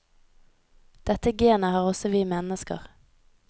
Dette genet har også vi mennesker.